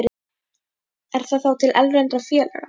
Er það þá til erlendra félaga?